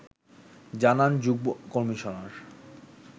জানান যুগ্ম-কমিশনার